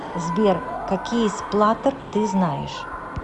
сбер какие сплаттер ты знаешь